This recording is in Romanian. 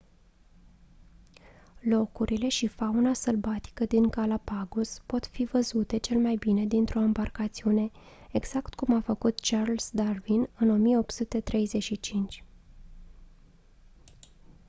locurile și fauna sălbatică din galapagos pot fi văzute cel mai bine dintr-o ambarcațiune exact cum a făcut charles darwin în 1835